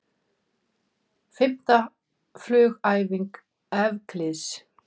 Fimmta frumhæfing Evklíðs.